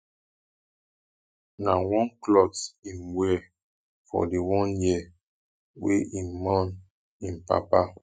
na one clot im wear for di one year wey im mourn im papa